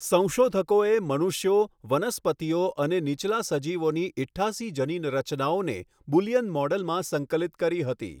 સંશોધકોએ મનુષ્યો, વનસ્પતિઓ અને નીચલા સજીવોની ઈઠયાસી જનીન રચનાઓને બુલિયન મૉડલમાં સંકલિત કરી હતી.